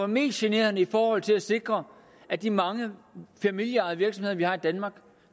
mest generende i forhold til at sikre at de mange familieejede virksomheder som vi har i danmark